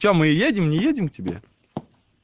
че мы едем не едем к тебе